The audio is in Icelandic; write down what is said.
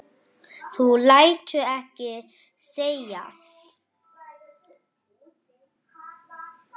Páll: Þú lætur ekki segjast?